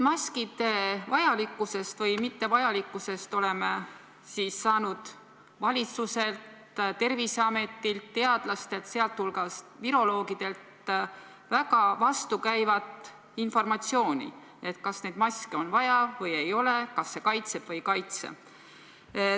Maskide vajalikkusest või mittevajalikkusest oleme saanud valitsuselt, Terviseametilt, teadlastelt, sh viroloogidelt, väga vastukäivat informatsiooni selle kohta, kas neid maske on vaja või ei ole, kas see kaitseb või ei kaitse.